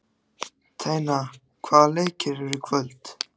Tanya, hvaða leikir eru í kvöld?